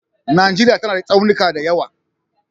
Najeriya tana da tsaunuka da yawa